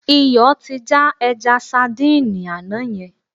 Iyọ̀ ti já ẹja sadíìnì àná yẹn.